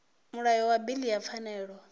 mulayo wa bili ya pfanelo